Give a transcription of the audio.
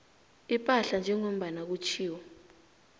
ipahla njengombana kutjhiwo